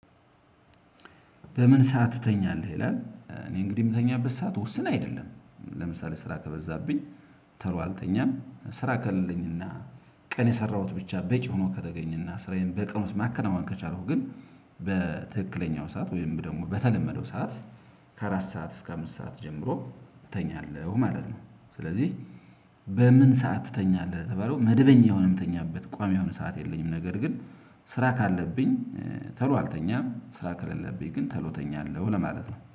በምን ሰዓት ትተኛለህ ይላል? እኔ እንግዲህ የምተኛበት ሰዓት ውስን አይደለም ለምሳሌ ስራ ከበዛብኝ ቶሎ አልተኛም ስራ ከሌለኝና ቀን የሰራሁት ብቻ በቂ ሆኖ ከተገኘና ስራዬን በቀን ውስጥ ማከናወን ከቻልኩ ግን በትክክለኛው ሰዓት ወይም ደግሞ በተለመደው ሰዓት ከአራት ሰዓት እስከ አምስት ሰዓት ጀምሮ እተኛለሁ ማለት ነው። ስለዚህ በምን ሰዓት ትተኛለህ? ለተባለው መደበኛ የሆነ የምተኛበት ቋሚ የሆነ ሰዓት የለኝም። ነገር ግን ስራ ካለብኝ ቶሎ አልተኛም ስራ ከሌለብኝ ግን ቶሎ እተኛለሁ ለማለት ነው